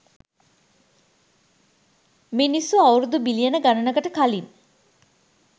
මිනිස්සු අවුරුදු බිලියන ගණනකට කලින්